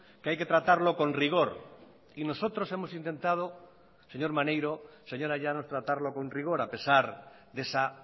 que hay que tratarlo con rigor y nosotros hemos intentado señor maneiro señora llanos tratarlo con rigor a pesar de esa